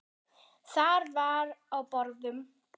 Þar var á borðum